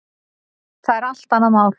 Það er allt annað mál.